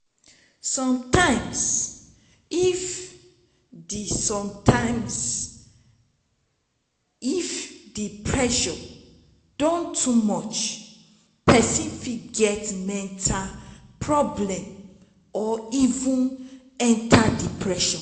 sometimes if di sometimes if di pressure don too much person fit get mental problem or even enter depression